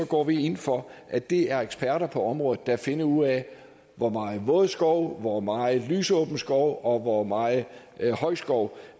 går vi ind for at det er eksperter på området der finder ud af hvor meget våd skov hvor meget lysåben skov og hvor meget høj skov